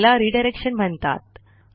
याला रिडायरेक्शन म्हणतात